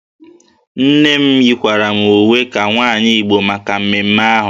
Nne m yikwara m uwe ka nwaanyị Igbo maka mmemme ahụ